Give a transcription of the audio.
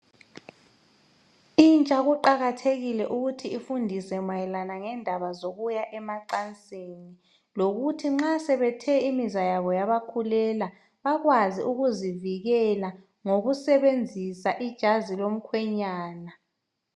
Intsha kuqakathekile ukuthi ifundise mayelana ngendaba zokuya emacansini. Lokuthi nxa sebethe imizwa yabo yabakhulela ,bakwazi ukuzivikela ngokusebenzisa ijazi lomkhwenyana.